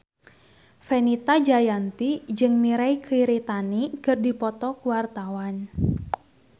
Fenita Jayanti jeung Mirei Kiritani keur dipoto ku wartawan